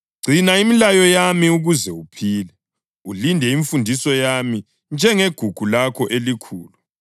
Gcina imilayo yami ukuze uphile; ulinde imfundiso yami njengegugu lakho elikhulu.